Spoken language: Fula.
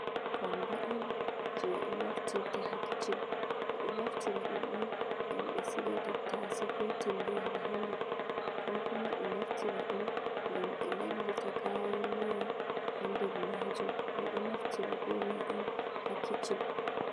kondo on je ɓe naftirta ha kichin, ɓeɗo naftira ɗum on ngam ɓe siga tattashe, ko tingere ha nder, ko kuma ɓe naftirta ɗum ngam ɓe lalita kayan miya ha nder, ɓeɗo defira be majum on ha kitchen.